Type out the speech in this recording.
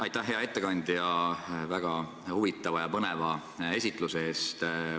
Aitäh, hea ettekandja, väga huvitava ja põneva esitluse eest!